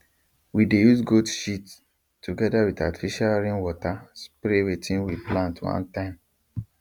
we dey use goat shit together with artificial rain water spray wetin we plant one time